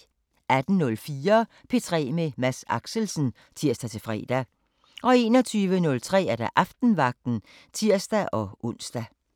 18:04: P3 med Mads Axelsen (tir-fre) 21:03: Aftenvagten (tir-ons)